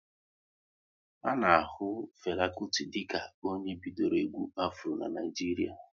A na ahu Fela Kuti dịka onye bidoro egwu Afro n'Naijiria